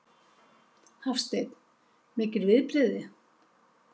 Hafsteinn: Mikil viðbrigði?